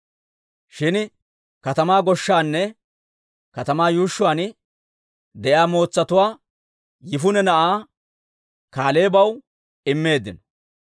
shin katamaa goshshaanne katamaa yuushshuwaan de'iyaa mootsatuwaa Yifune na'aa Kaaleebaw immeeddino.